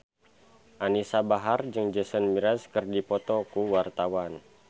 Anisa Bahar jeung Jason Mraz keur dipoto ku wartawan